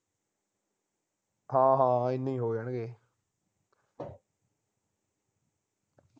ਹਾਂ ਹਾਂ ਏਨੇ ਹੋ ਜਾਣਗੇ